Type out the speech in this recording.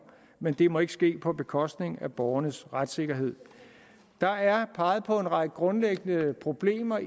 men det må ikke ske på bekostning af borgernes retssikkerhed der er peget på en række grundlæggende problemer